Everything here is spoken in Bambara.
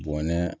Bɔnɛ